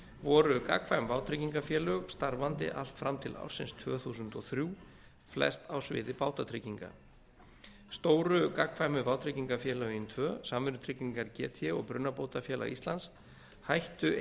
voru gagnkvæm vátryggingafélög starfandi allt fram til ársins tvö þúsund og þrjú flest á sviði bátatrygginga stóru gagnkvæmu vátryggingafélögin tvö samvinnutryggingar gt og brunabótafélag íslands hættu